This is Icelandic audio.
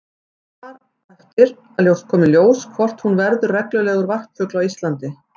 Það á eftir að koma í ljós hvort hún verður reglulegur varpfugl á Íslandi.